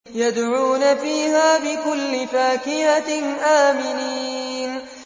يَدْعُونَ فِيهَا بِكُلِّ فَاكِهَةٍ آمِنِينَ